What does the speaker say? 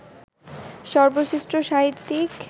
সর্বশ্রেষ্ঠ সাহিত্যিক